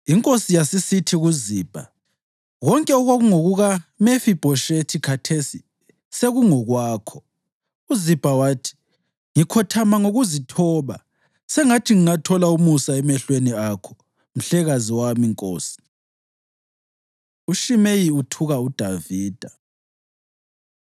Inkosi yasisithi kuZibha, “Konke okwakungokuka Mefibhoshethi khathesi sekungokwakho.” UZibha wathi, “Ngikhothama ngokuzithoba. Sengathi ngingathola umusa emehlweni akho mhlekazi wami, nkosi.” UShimeyi Uthuka UDavida